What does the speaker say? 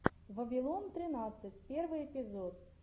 вавилон тринадцать первый эпизод